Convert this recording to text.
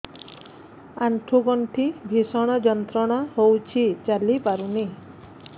ଆଣ୍ଠୁ ଗଣ୍ଠି ଭିଷଣ ଯନ୍ତ୍ରଣା ହଉଛି ଚାଲି ପାରୁନି